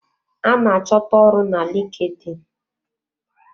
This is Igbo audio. A ná achọta ọrụ na LinkedIn.